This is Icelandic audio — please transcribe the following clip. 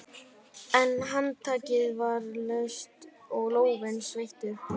En handtakið var laust og lófinn sveittur.